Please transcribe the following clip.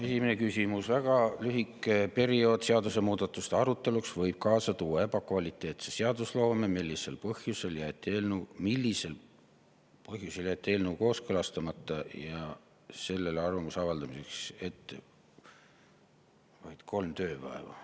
Esimene küsimus: "Väga lühike periood seadusmuudatuste aruteluks võib kaasa tuua ebakvaliteetse seadusloome, millisel põhjusel on eelnõu kooskõlastamiseks ja sellele arvamuse avaldamiseks ette nähtud vaid kolm tööpäeva?